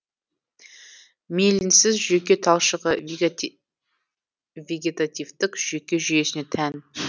миелинсіз жүйке талшығы вегетативтік жүйке жүйесіне тән